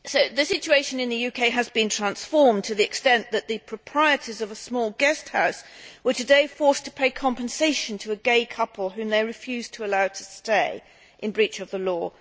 The situation in the UK has been transformed to the extent that the proprietors of a small guest house were today forced to pay compensation to a gay couple whom they refused to allow to stay, in breach of the law.